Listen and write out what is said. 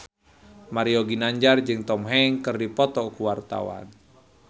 Mario Ginanjar jeung Tom Hanks keur dipoto ku wartawan